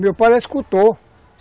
Meu pai era escultor.